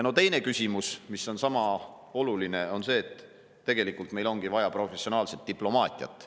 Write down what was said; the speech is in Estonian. Teine küsimus, mis on sama oluline, on see, et tegelikult meil ongi vaja professionaalset diplomaatiat.